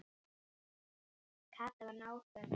Kata var náföl.